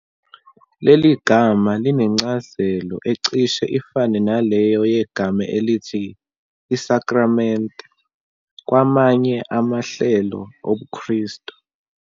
Leli gama linencazelo ecishe ifane naleyo yegama elithi "isakramente" kwamanye amahlelo obuKristu.